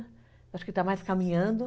Acho que está mais caminhando.